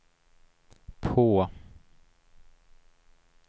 på